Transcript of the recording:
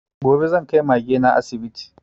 Gobe zan kai Mage na asibiti